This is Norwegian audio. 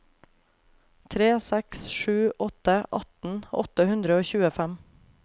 tre seks sju åtte atten åtte hundre og tjuefem